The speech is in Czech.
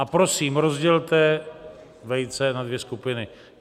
A prosím, rozdělte vejce na dvě skupiny.